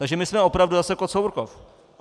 Takže my jsme opravdu zase Kocourkov.